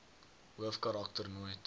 hoofkarak ter nooit